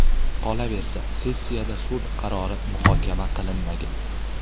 Qolaversa, sessiyada sud qarori muhokama qilinmagan.